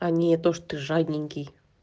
а не то что ты жадненький